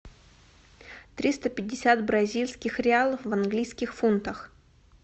триста пятьдесят бразильских реалов в английских фунтах